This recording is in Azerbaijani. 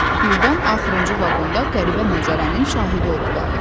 Birdən axırıncı vaqonda qəribə mənzərənin şahidi oldular.